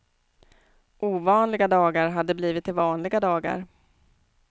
Ovanliga dagar hade blivit till vanliga dagar.